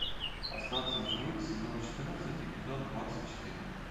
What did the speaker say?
остаться в живых сезон четырнадцать эпизод двадцать четыре